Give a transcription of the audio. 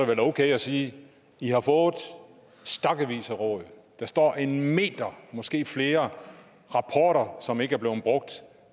vel okay at sige at i har fået stakkevis af råd der står en meter måske flere som ikke er blevet brugt